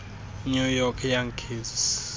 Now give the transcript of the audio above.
new york yankees